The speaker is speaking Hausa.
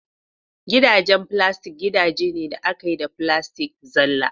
Gidajen filastik gidaje ne da aka yi da filastik zalla